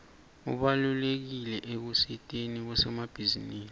ubalulekile ekusiteni bosomabhizinisi